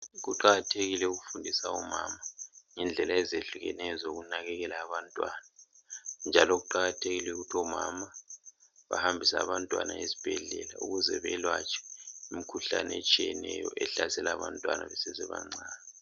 Kuqakathekile ukufundisa omama ngendlela ezehlukeneyo zokunakekela abantwana njalo kuqakathekile ukuthi omama behambise abantwana ezibhedlela ukuze beyelatshwe imikhuhlane etshiyeneyo ehlasela abantwana besesebancane